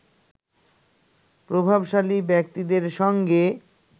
প্রভাবশালী ব্যক্তিদের সঙ্গে